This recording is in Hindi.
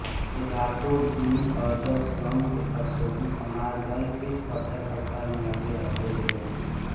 वे रातो दिन अर्जक संघ तथा शोषित समाज दल के प्रचारप्रसार मे लगे रहते थे